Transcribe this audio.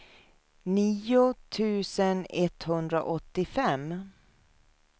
nio tusen etthundraåttiofem